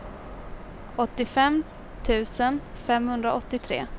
åttiofem tusen femhundraåttiotre